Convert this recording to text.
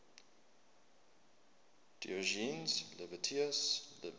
diogenes laertius's lives